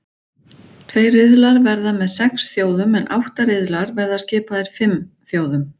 Tveir riðlar verða með sex þjóðum en átta riðlar verða skipaðir fimm þjóðum.